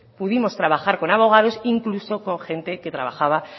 pudimos trabajar con abogados incluso con gente que trabajaba